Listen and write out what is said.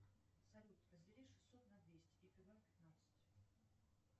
салют раздели шестьсот на двести и прибавь пятнадцать